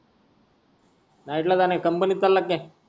night ला जान आहे company चाला की काय.